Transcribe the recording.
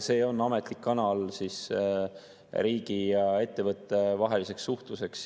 See on ametlik kanal riigi ja ettevõtte vaheliseks suhtluseks.